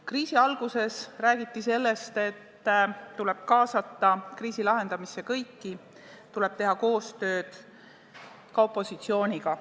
Kriisi alguses räägiti ka, et kriisi lahendamisse tuleb kaasata kõiki, tuleb teha koostööd ka opositsiooniga.